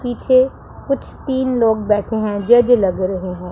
पीछे कुछ तीन लोग बैठे हैं जज लग रहे हैं।